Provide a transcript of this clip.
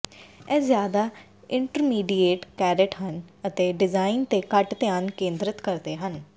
ਇਹ ਜ਼ਿਆਦਾ intermediate carat ਹਨ ਅਤੇ ਡਿਜ਼ਾਈਨ ਤੇ ਘੱਟ ਧਿਆਨ ਕੇਂਦ੍ਰਤ ਕਰਦੇ ਹਨ